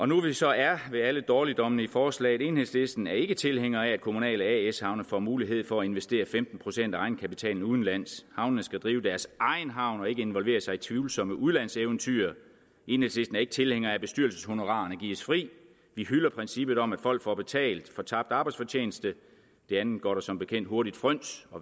nu vi så er ved alle dårligdommene i forslaget at enhedslisten ikke er tilhænger af at kommunale as havne får mulighed for at investere femten procent af egenkapitalen udenlands havnene skal drive deres egen havn og ikke involvere sig i tvivlsomme udlandseventyr enhedslisten er ikke tilhænger af at bestyrelseshonorarene gives fri vi hylder princippet om at folk får betalt for tabt arbejdsfortjeneste det andet går der som bekendt hurtigt fryns